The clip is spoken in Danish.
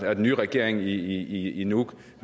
at den nye regering i i nuuk